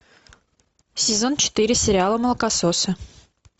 сезон четыре сериала молокососы